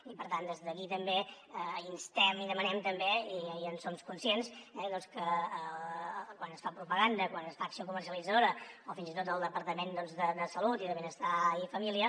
i per tant des d’aquí també instem i demanem també i en som conscients que quan es fa propaganda quan es fa acció comercialitzadora o fins i tot el departament de salut i de benestar i família